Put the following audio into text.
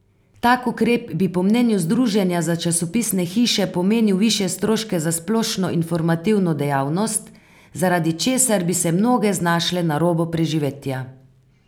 Tak ukrep bi po mnenju združenja za časopisne hiše pomenil višje stroške za splošno informativno dejavnost, zaradi česar bi se mnoge znašle na robu preživetja.